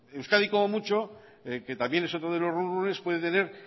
euskadi como mucho que también es otro de los run runes puede tener